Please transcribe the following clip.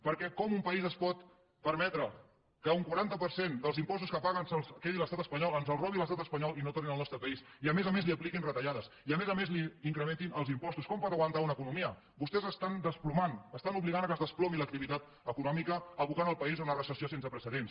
perquè com un país es pot permetre que un quaranta per cent dels impostos que paga se’ls quedi l’estat espanyol ens els robi l’estat espanyol i no tornin al nostre país i a més a més li apliquin retallades i a més a més li incrementin els impostos com pot aguantar una economia vostès estan desplomant estan obligant que es desplomi l’activitat econòmica abocant el país a una recessió sense precedents